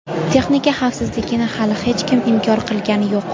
Texnika xavfsizligini hali hech kim inkor qilgani yo‘q.